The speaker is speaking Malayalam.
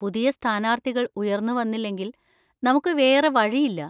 പുതിയ സ്ഥാനാർത്ഥികൾ ഉയർന്നുവന്നില്ലെങ്കിൽ നമുക്ക് വേറെ വഴിയില്ല.